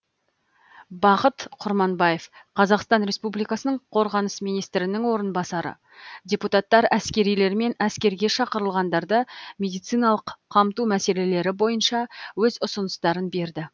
бақыт құрманбаев қазақстан республикасының қорғаныс министрінің орынбасары депутаттар әскерилер мен әскерге шақырылғандарды медициналық қамту мәселелері бойынша өз ұсыныстарын берді